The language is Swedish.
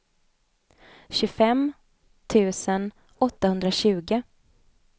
tjugofem tusen åttahundratjugo